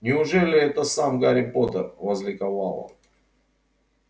неужели это сам гарри поттер возликовал он